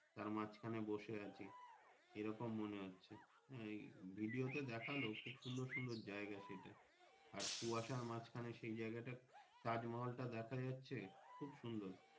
তারমাঝ খানে বসেআছে এরকম মনে হচ্ছে এই Video তে দেখালো খুব সুন্দর সুন্দর জায়গা সেটা আর কুয়াশার মাজখানে সেই জাইগাটা তাজমহলটা দেখাযাচ্ছে খুব সুন্দর।